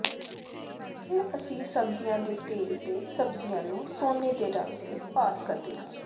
ਫਿਰ ਅਸੀਂ ਸਬਜ਼ੀਆਂ ਦੇ ਤੇਲ ਤੇ ਸਬਜ਼ੀਆਂ ਨੂੰ ਸੋਨੇ ਦੇ ਰੰਗ ਤੇ ਪਾਸ ਕਰਦੇ ਹਾਂ